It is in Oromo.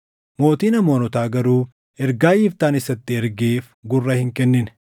Mootiin Amoonotaa garuu ergaa Yiftaan isatti ergeef gurra hin kennine.